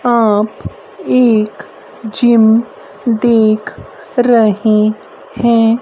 आप एक जिम देख रहे हैं।